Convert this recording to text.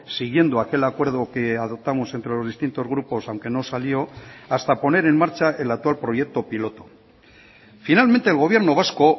siguiendo aquel acuerdo que adoptamos entre los distintos grupos aunque no salió hasta poner en marcha el actual proyecto piloto finalmente el gobierno vasco